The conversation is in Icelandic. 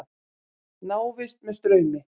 Návist með straumi.